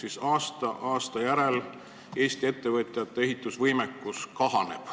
Tundub, et aasta aasta järel Eesti ettevõtjate ehitusvõimekus kahaneb.